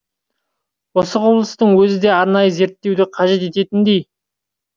осы құбылыстың өзі де арнайы зерттеуі қажет ететіндей